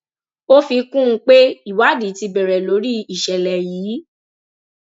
ó fi kún un pé ìwádìí ti bẹrẹ lórí ìṣẹlẹ yìí